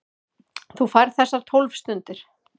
Þú færð þessar tólf stundir.